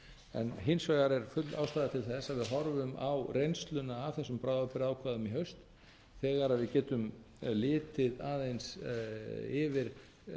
en hins vegar er full ástæða til að við horfum á reynsluna af þessum bráðabirgðaákvæðum í haust þegar við getum litið aðeins yfir